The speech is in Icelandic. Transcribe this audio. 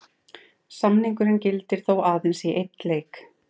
Samningurinn gildir þó aðeins í einn leik.